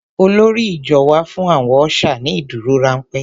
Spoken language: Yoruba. Olórí ìjọ wá fún àwọn ọ́ṣà ní ìdúrórámpẹ́.